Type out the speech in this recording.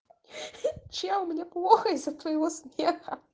чел мне плохо из-за твоего смеха